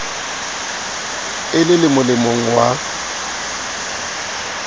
e le le molemong wa